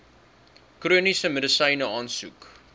chroniese medisyne aansoek